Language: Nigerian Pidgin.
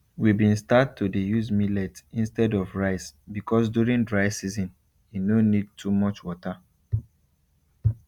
we been start to dey use millet instead of rice because during dry season e no need too much water